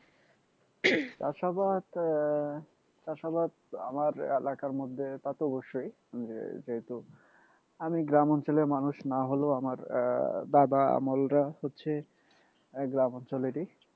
চাষাবাদ আহ চাষাবাদ আমার এলাকার মধ্যে তা তো অবশ্যই যেহেতু আমি গ্রাম অঞ্চলের মানুষ না হলেও আমার আহ বাবা আমলরা হচ্ছে গ্রাম অঞ্চলেরই